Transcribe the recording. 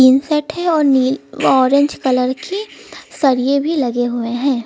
Tin shed है और नील ऑरेंज कलर की सरिए भी लगे हुए हैं।